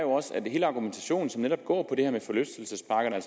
hele argumentationen netop går på det her med forlystelsesparkerne